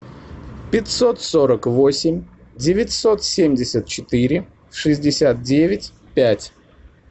пятьсот сорок восемь девятьсот семьдесят четыре шестьдесят девять пять